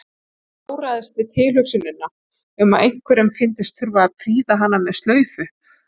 Ég táraðist við tilhugsunina um að einhverjum fyndist þurfa að prýða hana með slaufu.